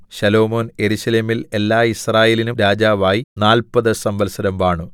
ശലോമോൻ യെരൂശലേമിൽ എല്ലാ യിസ്രായേലിനും രാജാവായി നാല്പതു സംവത്സരം വാണു